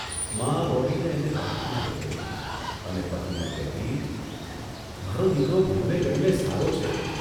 મા દોડીને એને બાથમાં લઇ લેતી અને પતિને કહેતીઃ 'મારો દીકરો ભણવે ગણવે સારો છે.